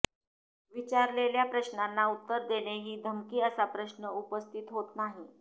विचारलेल्या प्रश्नांना उत्तर देणे ही धमकी असा प्रश्न उपस्थित होत नाही